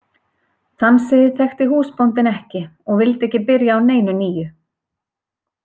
Þann sið þekkti húsbóndinn ekki og vildi ekki byrja á neinu nýju.